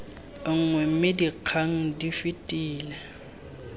nngwe mme dikgang di fetele